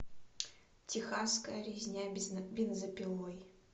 техасская резня бензопилой